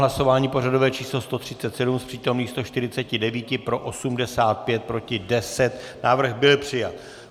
Hlasování pořadové číslo 137: z přítomných 149 pro 85, proti 10, návrh byl přijat.